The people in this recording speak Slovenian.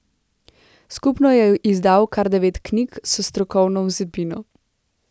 Skupno je izdal kar devet knjig s strokovno vsebino.